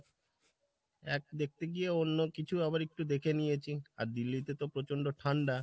এক দেখতে গিয়ে অন্যকিছু আবার একটু দেখে নিয়েছি। আর দিল্লিতে তো প্রচন্ড ঠান্ডা